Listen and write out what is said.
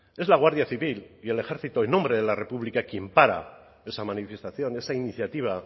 es la guardia civil y el ejército en nombre de la república quien para esa manifestación esa iniciativa